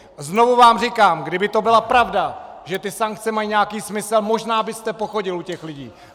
Znovu vám říkám: Kdyby to byla pravda, že ty sankce mají nějaký smysl, možná byste pochodil u těch lidí.